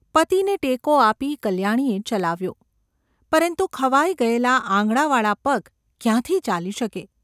પતિને ટેકો આપી કલ્યાણીએ ચલાવ્યો, પરંતુ ખવાઈ ગયેલાં આંગળાંવાળા પગ ક્યાંથી ચાલી શકે?